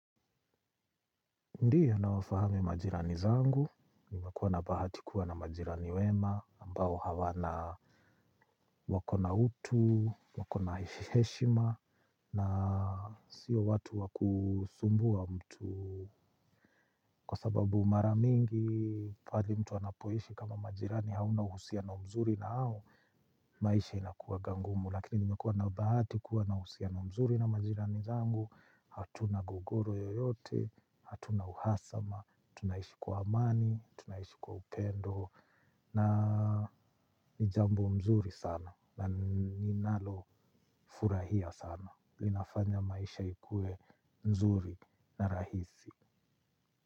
Ndiyo, nawafahamu majirani zangu, nimekuwa na bahati kuwa na majirani wema, ambao wana utu, wana heshima, na si watu wa kumsumbua mtu. Kwa sababu mara mingi, pale mtu anapoishi kama majirani hauna uhusiano mzuri nao, maisha inakuwa ngumu, lakini nimekuwa na bahati kuwa na uhusiano mzuri na majirani zangu, hatuna gogoro yoyote, hatuna uhasama, tunaishi kwa amani, tunaishi kwa upendo, na ni jambo zuri sana, na ninalofurahia sana, inafanya maisha ikuwe mzuri na rahisi.